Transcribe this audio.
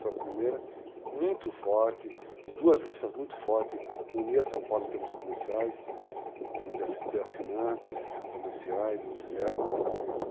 Foi a primeira, muito forte, duas listas muito fortes, unia São Paulo em termos comerciais, em termos de assinantes comerciais, industriais.